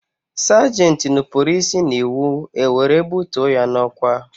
Sagenti nupụrụ isi n'iwu, e were bụtuo ya n'ọkwá